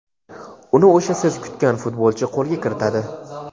uni o‘sha siz kutgan futbolchi qo‘lga kiritadi;.